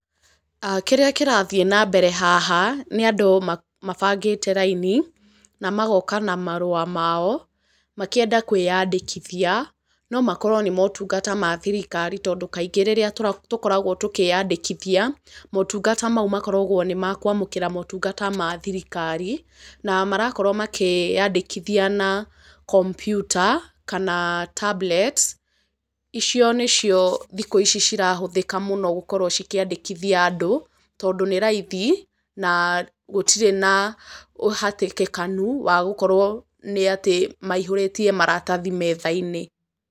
Kĩrĩa kĩrathiĩ na mbere haha, nĩ andũ mabangĩte raini, na magoka na marũa mao, makĩenda kwĩyandĩkithia, no makorwo nĩ motungata ma thirikari tondũ kaingĩ rĩrĩa tũkoragwo tũkĩyandĩkithia, motungata mau makoragwo nĩ makũamũkĩra motungata mathirikari, na marakorwo makĩyandĩkithia na kompyuta, kana tablet icio nĩ cio thikũ ici cirahũthĩka mũno gũkorwo cikĩandĩkithia andũ, tondũ nĩ raithi na gũtirĩ na ũhatĩkĩkanu wa gũkorwo nĩ atĩ maihũrĩtie maratathi metha-inĩ.